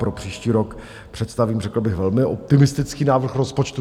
Pro příští rok představím řekl bych velmi optimistický návrh rozpočtu.